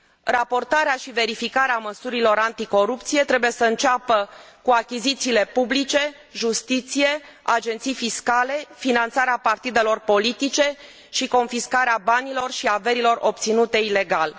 Raportarea și verificarea măsurilor anticorupție trebuie să înceapă cu achizițiile publice, justiție, agenții fiscale, finanțarea partidelor politice și confiscarea banilor și averilor obținute ilegal.